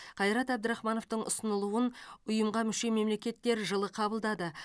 қайрат әбдірахмановтың ұсынылуын ұйымға мүше мемлекеттер жылы қабылдады